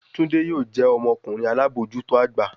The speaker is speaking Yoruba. Tunde yoo jẹ ọmọkunrin alabojuto agba